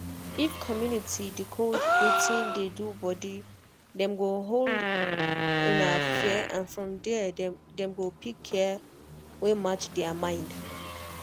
if community decode wetin dey do body dem go hold um fear and from there dem go pick care wey match their mind.